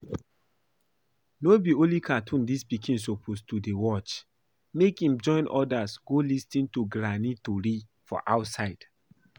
No be only cartoon dis pikin suppose dey watch, make im join others go lis ten to Granny tory for outside.